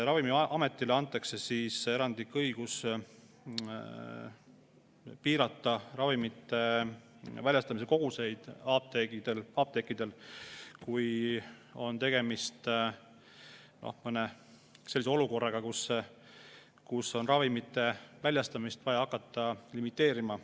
Ravimiametile antakse erandlik õigus piirata apteekidest ravimite väljastamise koguseid, kui on tegemist mõne sellise olukorraga, kus on ravimite väljastamist vaja hakata limiteerima.